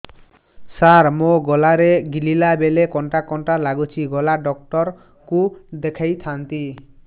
ସାର ମୋ ଗଳା ରେ ଗିଳିଲା ବେଲେ କଣ୍ଟା କଣ୍ଟା ଲାଗୁଛି ଗଳା ଡକ୍ଟର କୁ ଦେଖାଇ ଥାନ୍ତି